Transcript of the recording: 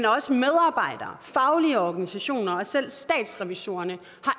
også medarbejdere faglige organisationer og selv statsrevisorerne